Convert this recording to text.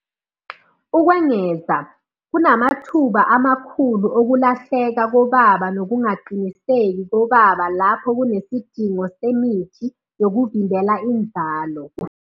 Ukwengeza, kunamathuba amakhulu okulahleka kobaba nokungaqiniseki kobaba lapho kunesidingo semithi yokuvimbela inzalo.